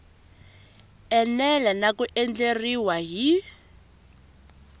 enela na ku andlariwa hi